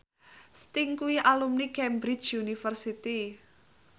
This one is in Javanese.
Sting kuwi alumni Cambridge University